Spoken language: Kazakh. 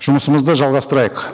жұмысымызды жалғастырайық